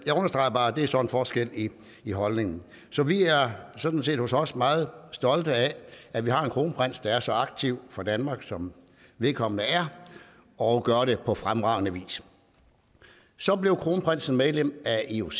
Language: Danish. jeg understreger bare at det så er en forskel i i holdningen så vi er sådan set hos os meget stolte af at vi har en kronprins der er så aktiv for danmark som vedkommende er og gør det på fremragende vis så blev kronprinsen medlem af ioc